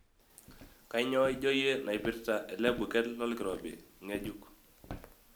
Kainyoo ijo iyie naipirta ele buket lolkirobi ng'gejuk?